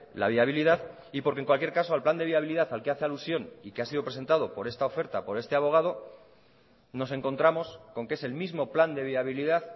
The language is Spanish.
la viabilidad y porque en cualquier caso al plan de viabilidad al que hace alusión y que ha sido presentado por esta oferta por este abogado nos encontramos con que es el mismo plan de viabilidad